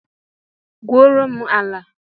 Gbuo ro m ala!